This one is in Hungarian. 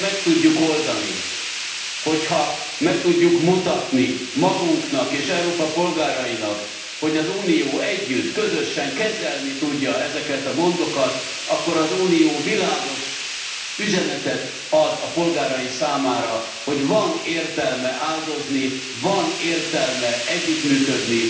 Ha meg tudjuk oldani, ha meg tudjuk mutatni magunknak és Európa polgárainak, hogy az Unió együtt, közösen kezelni tudja ezeket a gondokat, akkor az Unió világos üzenetet ad a polgárai számára, hogy van értelme áldozni, van értelme együttműködni.